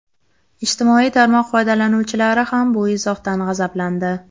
Ijtimoiy tarmoq foydalanuvchilari ham bu izohdan g‘azablandi.